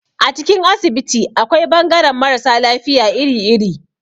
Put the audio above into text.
A cikin asibiti akwai bangaran mara sa lafiya iri-iri.